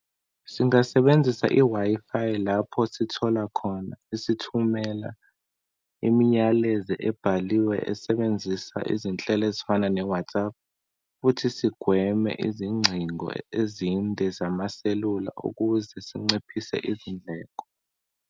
Singasebenzisa i-Wi-Fi lapho sithola khona isithumela iminyalezo ebhaliwe esebenzisa izinhlelo ezifana ne-WhatsApp, kuthi sigweme izingcingo ezinde zamaselula ukuze sinciphise izindleko.